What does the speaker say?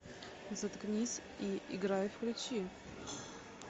заткнись и играй включи